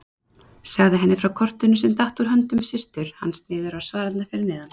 Sagði henni frá kortinu sem datt úr höndum systur hans niður á svalirnar fyrir neðan.